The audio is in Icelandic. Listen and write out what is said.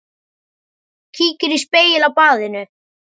Kíkir í spegil á baðinu.